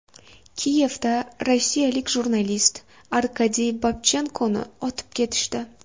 Kiyevda rossiyalik jurnalist Arkadiy Babchenkoni otib ketishdi.